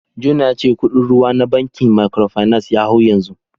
Jona ya ce kudin ruwa na bankin Microfinance ya hau yanzu